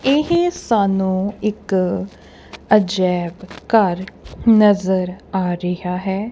ਇਹ ਸਾਨੂੰ ਇੱਕ ਅਜਾਇਬ ਘਰ ਨਜ਼ਰ ਆ ਰਿਹਾ ਹੈ।